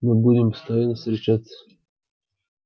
мы будем постоянно встречаться